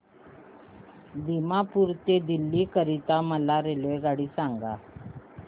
दिमापूर ते दिल्ली करीता मला रेल्वेगाडी सांगा